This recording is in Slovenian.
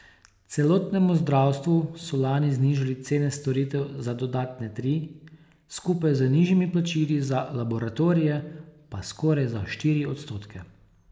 Celotnemu zdravstvu so lani znižali cene storitev za dodatne tri, skupaj z nižjimi plačili za laboratorije pa skoraj za štiri odstotke.